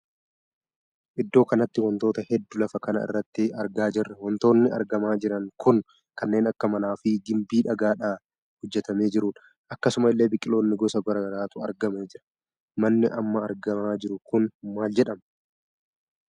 Iddoo kanatti wantoota hedduu lafa kana irratti argaa jirra wantoonni argamaa jiran kun kanneen akka mana fi gimbii dhagaadhana hojjetamee jirudha. akkasuma illee biqiloonni gosa garaagaraatu argamaa jira. manni amma argamaa jiru kun maal jedhama?